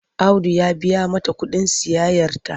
Audu ya biya mata kuɗin sayayyarta.